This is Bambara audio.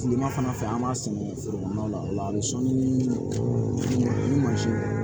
Kilema fana fɛ an b'a sɛnɛ foro kɔnɔna la o la ni sɔɔni ni mansin